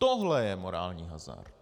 Tohle je morální hazard.